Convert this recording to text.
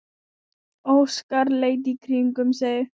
Óskar leit í kringum sig.